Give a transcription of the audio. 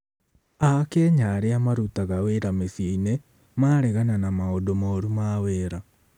Akenya arĩa marutaga wĩra mĩciĩ-inĩ maregana na maũndũ moru ma wĩra